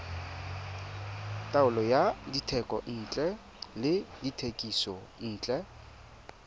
taolo ya dithekontle le dithekisontle